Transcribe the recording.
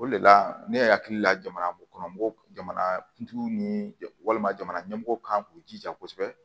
O de la ne yɛrɛ hakili la jamana kɔnɔ jamana kuntigiw ni walima jamana ɲɛmɔgɔw kan k'u jija kosɛbɛ